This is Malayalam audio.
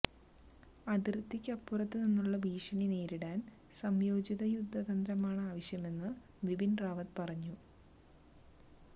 അതിര്ത്തിക്കപ്പുറത്തു നിന്നുള്ള ഭീഷണി നേരിടാന് സംയോജിത യുദ്ധ തന്ത്രമാണ് ആവശ്യമെന്ന് വിപിന് റാവത്ത് പറഞ്ഞു